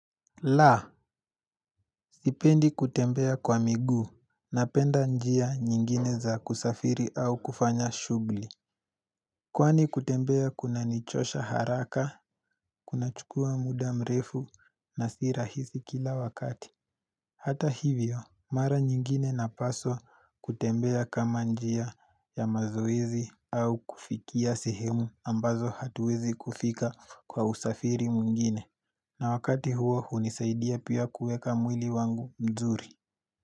La, Sipendi kutembea kwa miguu Napenda njia nyingine za kusafiri au kufanya shuguli Kwani kutembea kuna nichosha haraka Kuna chukua muda mrefu na si rahisi kila wakati Hata hivyo, mara nyingine na paswa kutembea kama njia ya mazoezi au kufikia sehemu ambazo hatuwezi kufika kwa usafiri mwingine na wakati huo hunisaidia pia kuweka mwili wangu mzuri.